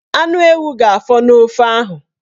Anu ewu ga-afọ n'ofe ahụ